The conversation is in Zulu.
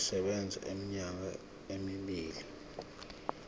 sisebenza iminyaka emibili